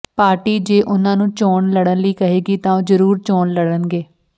party ਜੇ ਉਨ੍ਹਾਂ ਨੂੰ ਚੋਣ ਲੜਨ ਲਈ ਕਹੇਗੀ ਤਾਂ ਉਹ ਜਰੂਰ ਚੋਣ ਲੜਨਗੇ